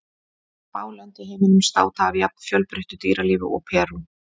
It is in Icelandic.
Fá lönd í heiminum státa af jafn fjölbreyttu dýralífi og Perú.